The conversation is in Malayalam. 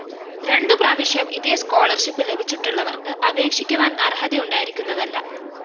രണ്ടു പ്രാവശ്യം ഇതേ സ്കോളർഷിപ്പ്‌ ലഭിച്ചിട്ടുള്ളവര്‍ക്ക് അപേക്ഷിക്കുവാന്‍ അര്‍ഹതയു ണ്ടായിരിക്കുന്നതല്ല